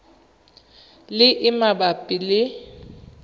le e e mabapi le